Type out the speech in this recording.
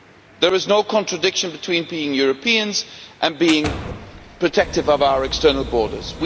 There is no contradiction between being Europeans and being protective of our external borders.